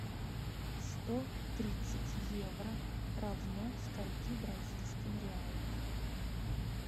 сто тридцать евро равно скольки бразильским реалам